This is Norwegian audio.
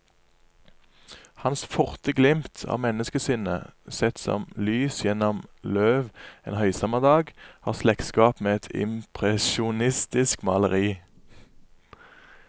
Hans forte glimt av menneskesinnet, sett som lys gjennom løv en høysommerdag, har slektskap med et impresjonistisk maleri.